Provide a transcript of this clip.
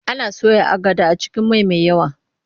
Ana soya agada a cikin mai mai yawa.